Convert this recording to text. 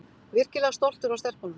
Virkilega stoltur af stelpunum